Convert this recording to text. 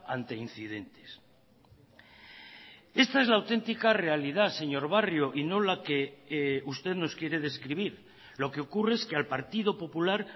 ante incidentes esta es la auténtica realidad señor barrio y no la que usted nos quiere describir lo que ocurre es que al partido popular